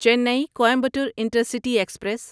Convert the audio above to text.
چینی Coimbatore intercity express